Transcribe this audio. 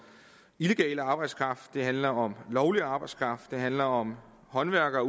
illegal arbejdskraft det handler om lovlig arbejdskraft det handler om håndværkere og